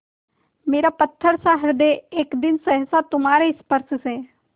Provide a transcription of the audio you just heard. मेरा पत्थरसा हृदय एक दिन सहसा तुम्हारे स्पर्श से